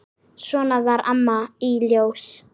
Svona var Amma í Ljós.